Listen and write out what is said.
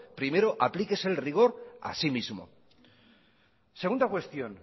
primero aplíquese el rigor así mismo segunda cuestión